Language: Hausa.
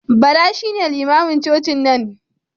Bala shine limamin cocin nan.